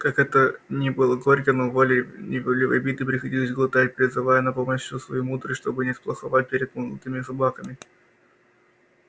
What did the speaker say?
как это ни было горько но волей неволей обиды приходилось глотать призывая на помощь всю свою мудрость чтобы не сплоховать перед молодыми собаками